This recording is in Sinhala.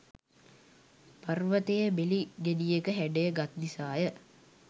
පර්වතය බෙලි ගෙඩියක හැඩය ගත් නිසා ය.